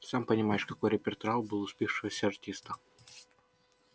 сам понимаешь какой репертуар был у спившегося артиста